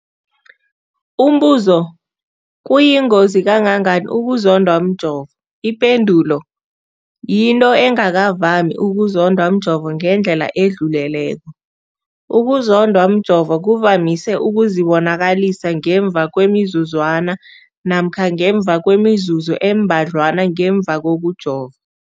Umbuzo, kuyingozi kangangani ukuzondwa mjovo? Ipendulo, yinto engakavami ukuzondwa mjovo ngendlela edluleleko. Ukuzondwa mjovo kuvamise ukuzibonakalisa ngemva kwemizuzwana namkha ngemva kwemizuzu embadlwana ngemva kokujova.